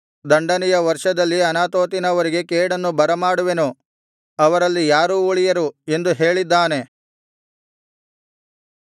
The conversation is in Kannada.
ದಂಡನೆಯ ವರ್ಷದಲ್ಲಿ ಅನಾತೋತಿನವರಿಗೆ ಕೇಡನ್ನು ಬರಮಾಡುವೆನು ಅವರಲ್ಲಿ ಯಾರೂ ಉಳಿಯರು ಎಂದು ಹೇಳಿದ್ದಾನೆ